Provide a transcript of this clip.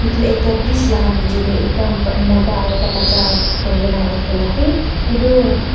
edu ekta bridge laka nichae tae ekta mota aro ekta bacha durikae na uthina ase edu.